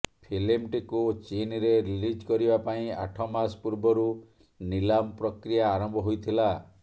ଫିଲ୍ମଟିକୁ ଚୀନ୍ରେ ରିଲିଜ କରିବା ପାଇଁ ଆଠ ମାସ ପୂର୍ବରୁ ନିଲାମ ପ୍ରକିୟା ଆରମ୍ଭ ହୋଇଥିଲା